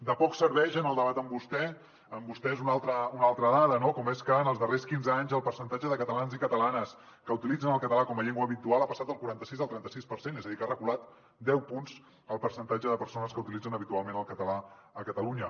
de poc serveix en el debat amb vostès una altra dada com és que en els darrers quinze anys el percentatge de catalans i catalanes que utilitzen el català com a llengua habitual ha passat del quaranta sis al trenta sis per cent és a dir que ha reculat deu punts el percentatge de persones que utilitzen habitualment el català a catalunya